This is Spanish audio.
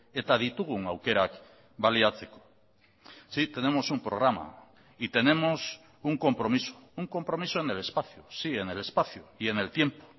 eta ditugun aukerak baliatzeko sí tenemos un programa y tenemos un compromiso un compromiso en el espacio sí en el espacio y en el tiempo